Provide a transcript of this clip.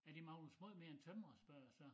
Er det Magnus måj mere end tømrer spørger jeg så